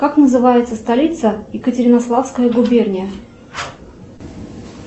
как называется столица екатеринославская губерния